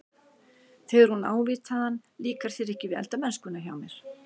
Þegar hún ávítaði hann- Líkar þér ekki við eldamennskuna hjá mér?